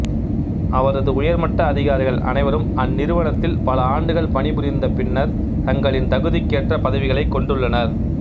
அவரது உயர்மட்ட அதிகாரிகள் அனைவரும் அந்நிறுவனத்தில் பல ஆண்டுகள் பணிபுரிந்த பின்னர் தங்களின் தகுதிக்கேற்ற பதவிகளைக் கொண்டுள்ளனர்